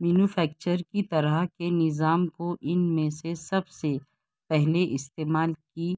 manufacturer کی طرح کے نظام کو ان میں سے سب سے پہلے استعمال کی